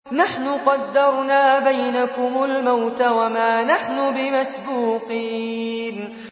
نَحْنُ قَدَّرْنَا بَيْنَكُمُ الْمَوْتَ وَمَا نَحْنُ بِمَسْبُوقِينَ